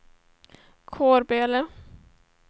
Kårböle